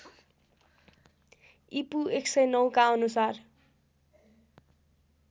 ईपू १००९ का अनुसार